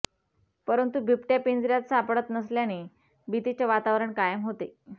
परंतु बिबट्या पिंजर्यात सापडत नसल्याने भीतीचे वातावरण कायम होते